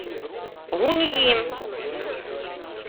гунъи